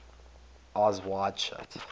eyes wide shut